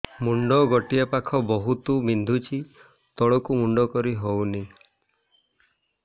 ମୁଣ୍ଡ ଗୋଟିଏ ପାଖ ବହୁତୁ ବିନ୍ଧୁଛି ତଳକୁ ମୁଣ୍ଡ କରି ହଉନି